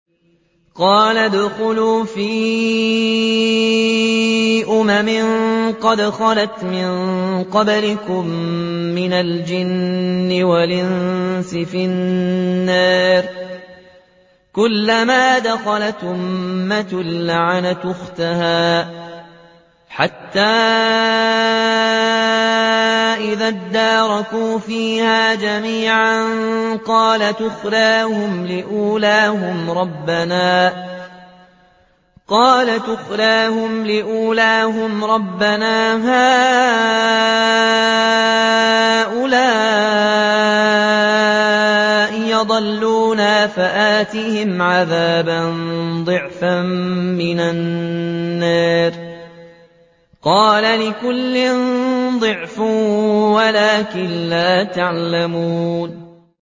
قَالَ ادْخُلُوا فِي أُمَمٍ قَدْ خَلَتْ مِن قَبْلِكُم مِّنَ الْجِنِّ وَالْإِنسِ فِي النَّارِ ۖ كُلَّمَا دَخَلَتْ أُمَّةٌ لَّعَنَتْ أُخْتَهَا ۖ حَتَّىٰ إِذَا ادَّارَكُوا فِيهَا جَمِيعًا قَالَتْ أُخْرَاهُمْ لِأُولَاهُمْ رَبَّنَا هَٰؤُلَاءِ أَضَلُّونَا فَآتِهِمْ عَذَابًا ضِعْفًا مِّنَ النَّارِ ۖ قَالَ لِكُلٍّ ضِعْفٌ وَلَٰكِن لَّا تَعْلَمُونَ